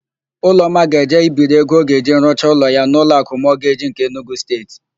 Ụlọma ga-eje ibiri ego ọ ga-eji rụcha ụlọ ya n'Ụlọakụ Mọgeji nke Enugu Steeti.